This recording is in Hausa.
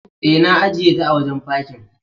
E, na ajiyeta a wajen fakin.